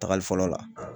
Tagali fɔlɔ la